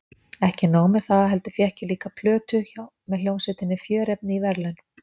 Ekki nóg með það heldur fékk ég líka plötu með hljómsveitinni Fjörefni í verðlaun.